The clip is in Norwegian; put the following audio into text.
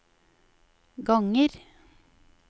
ganger